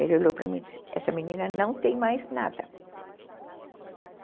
Ele olhou para mim e disse, essa menina não tem mais nada.